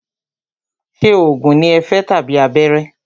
Ṣé oògùn ní o fẹ́ tàbí abẹ́rẹ́?